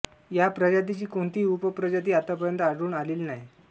या प्रजातीची कोणतीही उपप्रजाती आतापर्यंत आढळून आलेली नाही